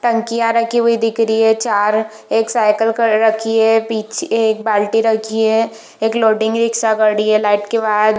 टंकिया रखी हुई दिख रही है चार एक साईकिल ख रखी है पिछे एक बाल्टी रखी है एक लोडिंग रिक्शा गाडी है लाइट के बाद।